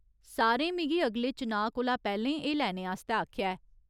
सारें मिगी अगले चुनांऽ कोला पैह्‌लें एह् लैने आस्तै आखेआ ऐ।